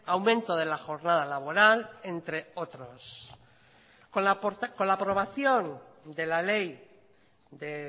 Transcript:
aumento de la jornada laboral entre otros con la aprobación de la ley de